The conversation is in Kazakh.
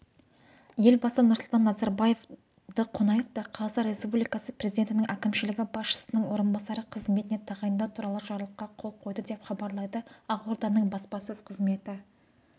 елбасы нұрсұлтан назарбаев донақовты қазақстан республикасы президентінің әкімшілігі басшысының орынбасары қызметіне тағайындау туралы жарлыққа қол қойды деп хабарлайды ақорданың баспасөз қызметі